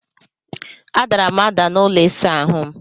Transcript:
A dara m ada n'ụlọ ịsa ahụ m.